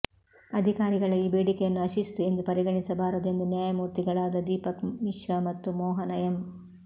ಅಧಿಕಾರಿಗಳ ಈ ಬೇಡಿಕೆಯನ್ನು ಅಶಿಸ್ತು ಎಂದು ಪರಿಗಣಿಸಬಾರದು ಎಂದು ನ್ಯಾಯಮೂರ್ತಿಗಳಾದ ದೀಪಕ್ ಮಿಶ್ರಾ ಮತ್ತು ಮೋಹನ ಎಂ